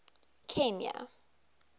kenya